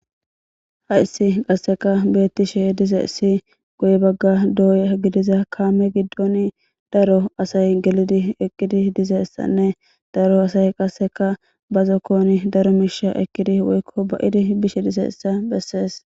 Hayssi qasseka beettishe dize issi goy bagga dooy gidiza kaame giddon daro asay gelidi eqqidi dizessanne daro asay qasseka bazzo kooni daro miisha ekkidi woykko ba'idi bishe dizeyssa bessees.